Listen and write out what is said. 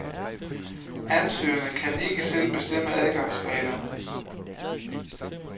Ansøgerne kan ikke selv bestemme adgangsreglerne.